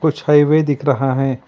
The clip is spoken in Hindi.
कुछ हाईवे दिख रहा है।